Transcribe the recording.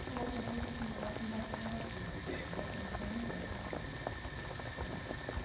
Trouxe né, trouxe assim afirmação negativa de saber exatamente o que eu não quero para a minha vida né.